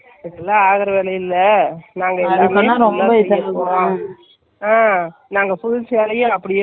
இருந்தேன், என்னக்கு அவ்ளோ full frock தேவையே இல்ல, அப்படி இருந்தாலும் அதுதான் நல்லா இருக்கும்.